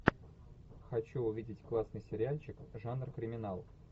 хочу увидеть классный сериальчик жанр криминал